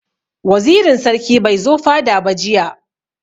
Wazirin sarki bai zo fada ba jiya.